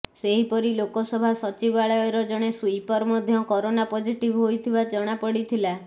ସେହିପରି ଲୋକସଭା ସଚିବାଳୟର ଜଣେ ସୁଇପର ମଧ୍ୟ କରୋନା ପଜିଟିଭ୍ ହୋଇଥିବା ଜଣାପଡିଥିଲା